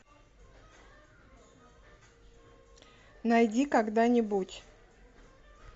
найди когда нибудь